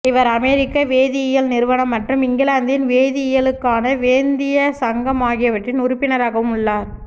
இவர் அமெரிக்க வேதியியல் நிறுவனம் மற்றும் இங்கிலாந்தின் வேதியியலுக்கான வேந்திய சங்கம் ஆகியவற்றின் உறுப்பினராகவும் உள்ளார்